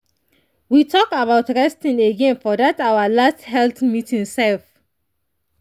we talk about resting again for that our last health meeting sef.